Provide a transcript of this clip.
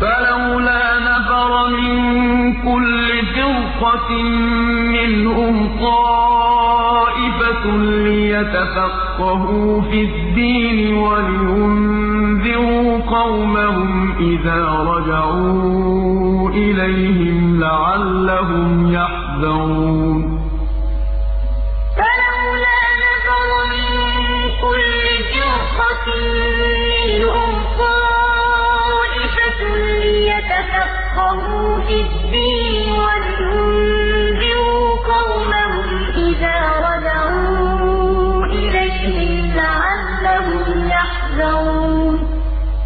فَلَوْلَا نَفَرَ مِن كُلِّ فِرْقَةٍ مِّنْهُمْ طَائِفَةٌ لِّيَتَفَقَّهُوا فِي الدِّينِ وَلِيُنذِرُوا قَوْمَهُمْ إِذَا رَجَعُوا إِلَيْهِمْ لَعَلَّهُمْ يَحْذَرُونَ ۞ وَمَا كَانَ الْمُؤْمِنُونَ لِيَنفِرُوا كَافَّةً ۚ فَلَوْلَا نَفَرَ مِن كُلِّ فِرْقَةٍ مِّنْهُمْ طَائِفَةٌ لِّيَتَفَقَّهُوا فِي الدِّينِ وَلِيُنذِرُوا قَوْمَهُمْ إِذَا رَجَعُوا إِلَيْهِمْ لَعَلَّهُمْ يَحْذَرُونَ